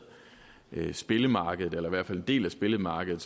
spillemarkedet eller i hvert fald en del af spillemarkedet